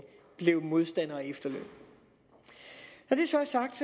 blev modstander af efterlønnen når det så er sagt